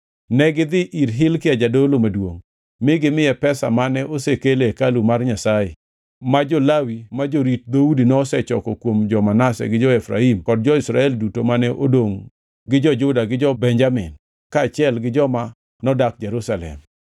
Negidhi ir Hilkia jadolo maduongʼ mi gimiye pesa mane osekel e hekalu mar Nyasaye ma jo-Lawi ma jorit dhoudi nosechoko kuom jo-Manase gi jo-Efraim kod jo-Israel duto mane odongʼ gi jo-Juda gi jo-Benjamin kaachiel gi joma nodak Jerusalem.